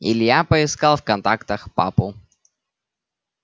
илья поискал в контактах папу